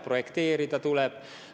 Projekteerida ju tuleb ka.